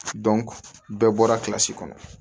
bɛɛ bɔra kɔnɔ